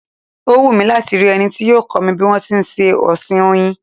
Ó wù mí láti rí ẹni tí yóò kọ́ mi bí wọn ti ń ṣe ọ̀sìn Oyin.